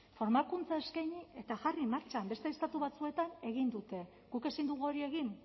formakuntza eskaini eta jarri martxan beste estatu batzuetan egin dute guk ezin dugu hori egin